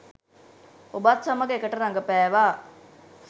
ඔබත් සමග එකට රඟපෑවා?